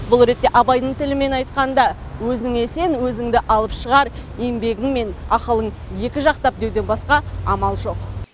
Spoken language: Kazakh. бұл ретте абайдың тілімен айтқанда өзіңе сен өзіңді алып шығар еңбегің мен ақылың екі жақтап деуден басқа амал жоқ